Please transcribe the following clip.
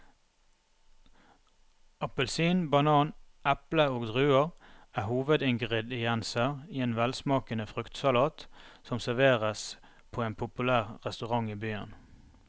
Appelsin, banan, eple og druer er hovedingredienser i en velsmakende fruktsalat som serveres på en populær restaurant i byen.